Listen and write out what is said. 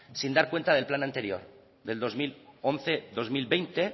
sin dar cuenta del plan anterior del dos mil once dos mil veinte